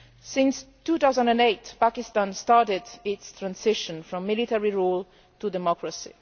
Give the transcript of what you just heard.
In 2008 Pakistan started its transition from military rule to democracy.